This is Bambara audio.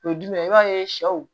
O ye jumɛn ye i b'a ye sɛw